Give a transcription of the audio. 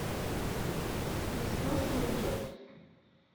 несносный дед